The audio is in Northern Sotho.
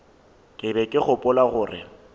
ke be ke gopola gore